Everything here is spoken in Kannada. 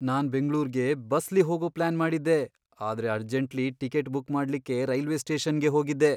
ನಾನ್ ಬೆಂಗಳೂರ್ಗೆ ಬಸ್ಲಿ ಹೋಗೋ ಪ್ಲಾನ್ ಮಾಡಿದ್ದೆ ಆದ್ರೆ ಅರ್ಜೆಂಟ್ಲಿ ಟಿಕೆಟ್ ಬುಕ್ ಮಾಡ್ಲಿಕ್ಕೆ ರೈಲ್ವೆ ಸ್ಟೇಷನ್ಗೆ ಹೋಗಿದ್ದೆ.